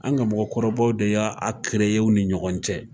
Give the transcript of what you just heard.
An ka mɔgɔkɔrɔbaw de y'a u ni ɲɔgɔn cɛ.